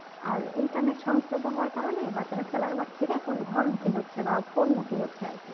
আর internet সংস্থাপ্য হওয়ার কারণে বাচ্চারা খেলার মাঠ ছেড়ে এখন ঘর মুখী হচ্ছে বা phone মুখী হচ্ছে